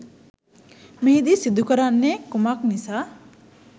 මෙහිදී සිදු කරන්නේ කුමක් නිසා